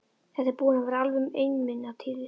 Þetta er búin að vera alveg einmunatíð.